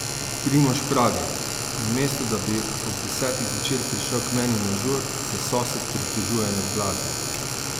Primož pravi: "Namesto da bi ob desetih zvečer prišel k meni na žur, se sosed pritožuje nad glasbo.